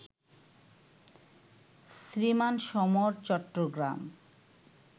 Shriman Samar, Chittagong